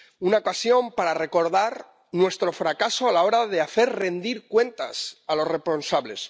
Una ocasión para recordar nuestro fracaso a la hora de hacer rendir cuentas a los responsables.